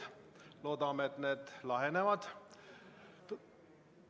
Loodame, et need lahenevad.